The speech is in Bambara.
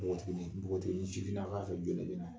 Npogotiginin npogotiginin sifinnaka